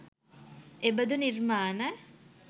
එබඳු නිර්මාණ